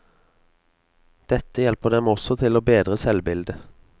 Dette hjelper dem også til å bedre selvbildet.